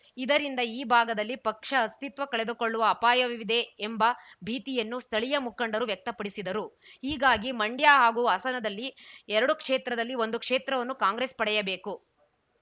ಇದರಿಂದ ಈ ಭಾಗದಲ್ಲಿ ಪಕ್ಷ ಅಸ್ತಿತ್ವ ಕಳೆದುಕೊಳ್ಳುವ ಅಪಾಯವಿದೆ ಎಂಬ ಭೀತಿಯನ್ನು ಸ್ಥಳೀಯ ಮುಖಂಡರು ವ್ಯಕ್ತಪಡಿಸಿದರು ಹೀಗಾಗಿ ಮಂಡ್ಯ ಹಾಗೂ ಹಾಸನದಲ್ಲಿ ಎರಡು ಕ್ಷೇತ್ರದಲ್ಲಿ ಒಂದು ಕ್ಷೇತ್ರವನ್ನು ಕಾಂಗ್ರೆಸ್‌ ಪಡೆಯಬೇಕು